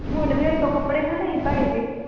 ਹੁਣ ਕੱਪੜੇ ਨਾ ਲਈ ਭੈੜੇ ਜਿਹੇ।